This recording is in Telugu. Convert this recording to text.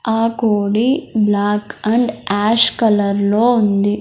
ఆ కోడి బ్లాక్ అండ్ ఆష్ కలర్ లో ఉంది.